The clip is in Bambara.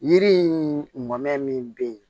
Yiri in mɔmɛ min bɛ yen